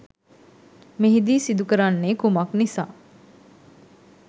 මෙහිදී සිදු කරන්නේ කුමක් නිසා